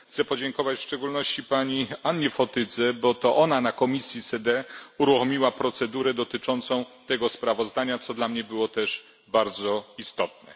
Chcę podziękować w szczególności pani Annie Fotydze, bo to ona w komisji SEDE uruchomiła procedurę dotyczącą tego sprawozdania, co dla mnie było też bardzo istotne.